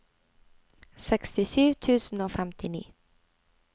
sekstisju tusen og femtini